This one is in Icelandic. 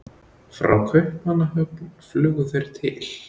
Frá Kaupmannahöfn flugu þeir til